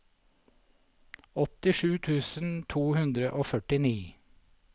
åttisju tusen to hundre og førtini